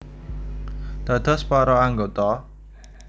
Dados para anggota